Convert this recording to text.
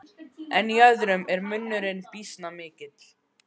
En í öðrum er munurinn býsna mikill.